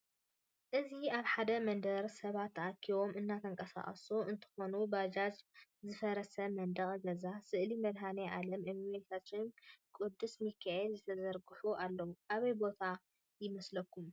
እዚ አብ ሐደ መንደር ሰባት ተአኪቦም እናተንቃሳቀሱ እንትኾኑ ባጃጅ፣ ዝፈረሰ መንደቅ ገዛ፣ ስእሊ መድሃኒአለም፣ እመቤታችንን ቅዱስ ምካኤልን ዝተዘርግሑ አለው። አበይ ቦታ ይመስለኩም?